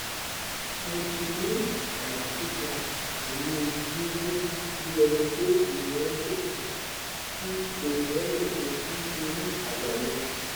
mo tin ni aya tita pelu gigun bi enipe eniyan joko si eniyan joko si ori aya mi